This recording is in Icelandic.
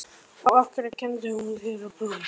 Helga: Og af hverju kenndi hún þér að prjóna?